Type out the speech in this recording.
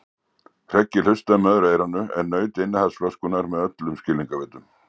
Hreggi hlustaði með öðru eyranu en naut innihalds flöskunnar með öllum skilningarvitum.